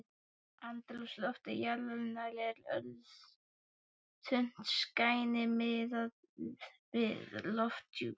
Andrúmsloft jarðarinnar er örþunnt skæni miðað við lofthjúp